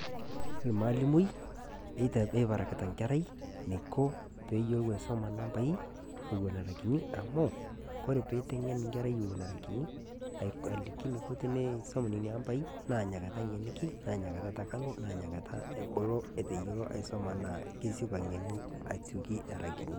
Maalimu eberaakita enkarrai neiko pee eiyelo aisoma nambai ewuen era nkutii amu kore pee eiteng'en nkerra wuen era kunii alikii neiko teneisom nenia ambai naa enia kaata eteng'eni, naa enia kaata eteng'enu enia enia nkaata ebuluu eteiyelo aisoma naa kesipaa eng'enu ashooli era kuuni.